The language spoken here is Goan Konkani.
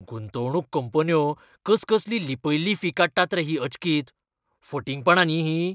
गुंतवणूक कंपन्यो कसकसली लिपयल्ली फी काडटात ही अचकीत? फटिंगपणां न्ही हीं?